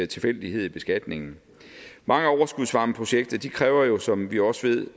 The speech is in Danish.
tilfældighed i beskatningen mange overskudsvarmeprojekter kræver jo som vi også ved